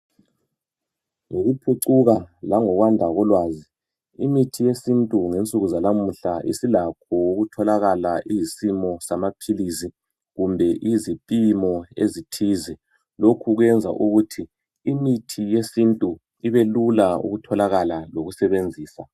Ngokuphucuka langokwanda kolwazi .Imithi yesintu ngensuku zalamuhla isilakho ukutholakala iyisimo samaphilisi kumbe izipimo ezithize .Lokhu kwenza ukuthi imithi yesintu ibelula ukutholakala lokusebenzisa